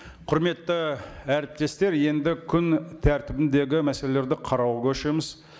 құрметті әріптестер енді күн тәртібіндегі мәселелерді қарауға көшеміз